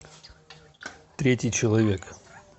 третий человек